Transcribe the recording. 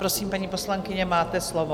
Prosím, paní poslankyně, máte slovo.